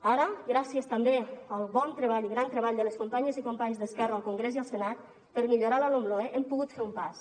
ara gràcies també al bon treball i gran treball de les companyes i companys d’esquerra al congrés i al senat per millorar la lomloe hem pogut fer un pas